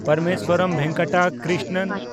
Parameswaran Venkata Krishnan